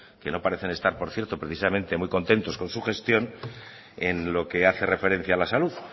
que no parecen estar por cierto precisamente muy contentos con su gestión en lo que hace referencia a la salud